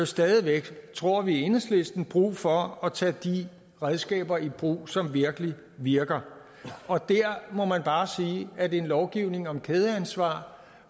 stadig væk tror vi i enhedslisten brug for at tage de redskaber i brug som virkelig virker og der må man bare sige at en lovgivning om kædeansvar